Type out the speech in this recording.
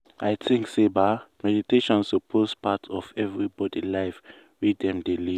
i think say ba meditation suppose part of everybody life wey dem dey live.